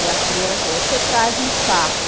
E a freira falou, você traz um sapo.